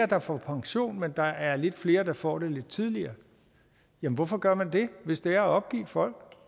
der får pension men at der er lidt flere der får den lidt tidligere jamen hvorfor gør man det hvis det er at opgive folk